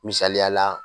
Misaliyala